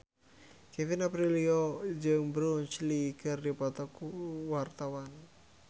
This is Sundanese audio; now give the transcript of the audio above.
Kevin Aprilio jeung Bruce Lee keur dipoto ku wartawan